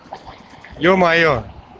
ё-моё